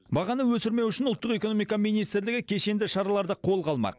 бағаны өсірмеу үшін ұлттық экономика министрлігі кешенді шараларды қолға алмақ